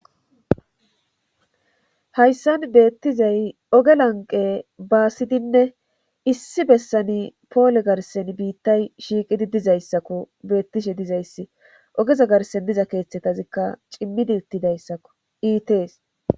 Hayssan beettizay oge lanqe baasidinne issi bessani poole garsen biittay shiiqidi dizayssakko beettishe dizayssi ogeza garsen diza keeththetazikka cimmidi uttidayssakko iitees.